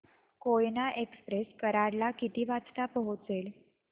Koyna express Karad ला किती वाजता पोहचेल